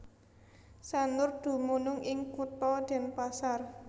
Sanur dumunung ing Kutha Denpasar